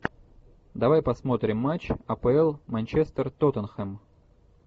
давай посмотрим матч апл манчестер тоттенхэм